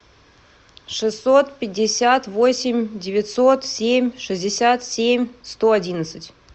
шестьсот пятьдесят восемь девятьсот семь шестьдесят семь сто одиннадцать